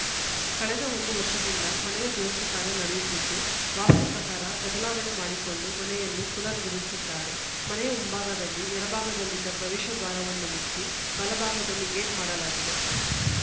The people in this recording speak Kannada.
ಕಳೆದ ಒಂದು ವರ್ಷದಿಂದ ಮನೆಯ ದುರಸ್ತಿ ಕಾರ್ಯ ನಡೆಯುತ್ತಿದ್ದು ವಾಸ್ತು ಪ್ರಕಾರ ಬದಲಾವಣೆ ಮಾಡಿಕೊಂಡು ಮನೆಯನ್ನು ಪುನರ್‌ ನಿರ್ಮಿಸಿದ್ದಾರೆ ಮನೆಯ ಮುಂಭಾಗದಲ್ಲಿ ಎಡಭಾಗದಲ್ಲಿದ್ದ ಪ್ರವೇಶ ದ್ವಾರವನ್ನು ಮುಚ್ಚಿ ಬಲಭಾಗದಲ್ಲಿ ಗೇಟ್‌ ಮಾಡಲಾಗಿದೆ